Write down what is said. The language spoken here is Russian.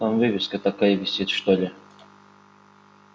там вывеска такая висит что ли